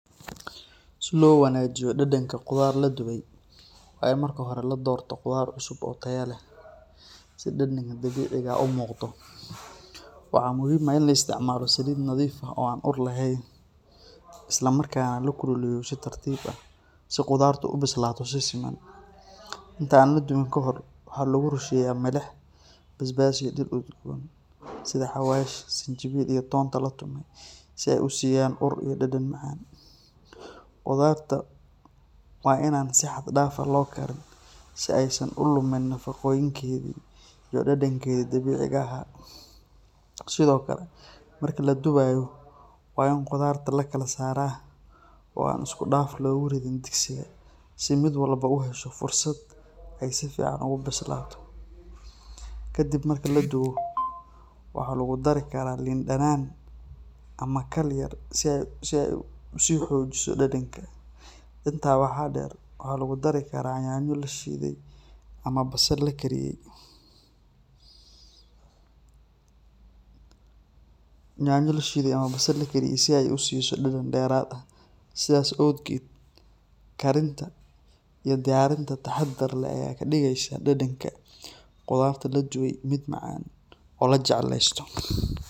Si loo wanaajiyo dhadhanka qudaar la dubay, waa in marka hore la doorto qudaar cusub oo tayo leh, si dhadhanka dabiiciga ah u muuqdo. Waxaa muhiim ah in la isticmaalo saliid nadiif ah oo aan ur lahayn, isla markaana la kululeeyo si tartiib ah, si qudaartu u bislaato si siman. Inta aan la dubin ka hor, waxaa lagu rusheeyaa milix, basbaas, iyo dhir udgoon sida xawaash, sinjibiil, iyo toonta la tumay si ay u siiyaan ur iyo dhadhan macaan. Qudaarta waa in aan si xad dhaaf ah loo karin si aysan u lumin nafaqooyinkeedii iyo dhadhankeedii dabiiciga ahaa. Sidoo kale, marka la dubayo, waa in qudaarta la kala saaraa oo aan si isku dhafan loogu ridin digsiga si mid walba u hesho fursad ay si fiican ugu bislaato. Ka dib marka la dubo, waxaa lagu dari karaa liin dhanaan ama khal yar si ay u sii xoojiso dhadhanka. Intaa waxaa dheer, waxaa lagu dari karaa yaanyo la shiiday ama basal la karkariyay si ay u siiso dhadhan dheeraad ah. Sidaas awgeed, karinta iyo diyaarinta taxaddar leh ayaa ka dhigaysa dhadhanka qudarta la dubay mid macaan oo la jecleysto.